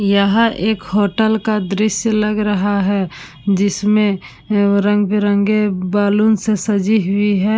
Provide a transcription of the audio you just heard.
यह एक होटल का दृश्य लग रहा है। जिसमे रंग-बिरंगे बैलून से सजी हुई है।